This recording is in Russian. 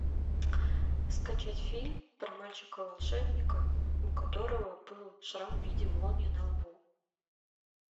скачать фильм про мальчика волшебника у которого был шрам в виде молнии на лбу